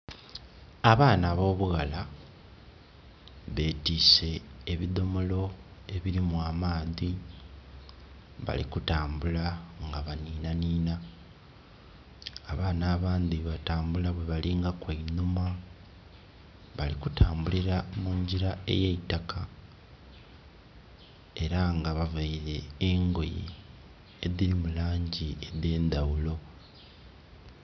Abaana ab'obughala betiise ebidhomolo ebirimu amaadhi, bali kutambula nga baninanina, abaana abandhi balikutambula bwe balingaku einhuma. Bali kutambulira mungira eyeitaka era nga bavaile engoye edhiri mu langi edh'endaghulo.